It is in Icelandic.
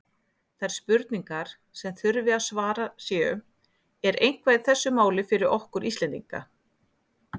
Þær spurningar, sem þurfi að svara séu: Er eitthvað í þessu máli fyrir okkur Íslendinga?